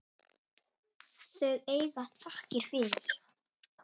Þau eiga þakkir fyrir.